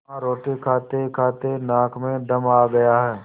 हाँ रोटी खातेखाते नाक में दम आ गया है